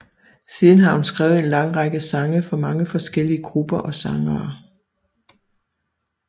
Siden har hun skrevet en lang række sange for mange forskellige grupper og sangere